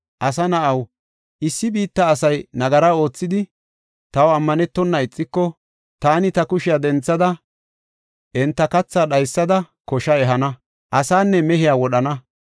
“Asa na7aw, issi biitta asay nagara oothidi, taw ammanetona ixiko, taani ta kushiya denthada, enta kathaa dhaysada, kosha ehana; asaanne mehiya wodhana.